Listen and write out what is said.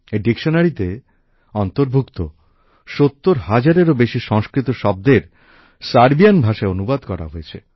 এই অভিধানে অন্তর্ভুক্ত ৭০ হাজারেরও বেশী সংস্কৃত শব্দের সার্বিয়ান ভাষায় অনুবাদ করা হয়েছে